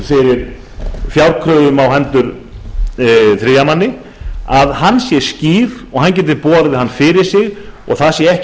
fyrir fjárkröfur á hendur þriðja manni sé skýr og hann geti borið hann fyrir sig og það sé ekki hægt